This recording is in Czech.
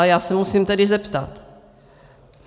A já se musím tedy zeptat.